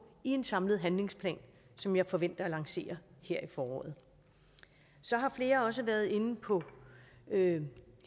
i en samlet handlingsplan som jeg forventer at lancere her i foråret så har flere også været inde på hele